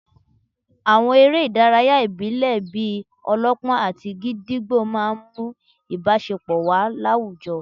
Àwọn eré ìdárayá ìbílẹ̀ bíi -ọlọ́pọ́n àti gídígbò máà ń mú ìbáṣepọ̀ wà láwùjọ